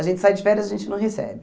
A gente sai de férias, a gente não recebe.